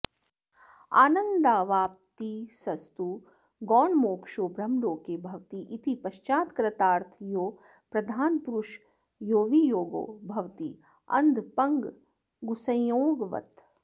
आनन्दावाप्तिस्तु गौणमोक्षो ब्रह्मलोके भवति इति पश्चात् कृतार्थयोः प्रधानपुरुषयोर्वियोगो भवति अन्धपङ्गुसंयोगवत्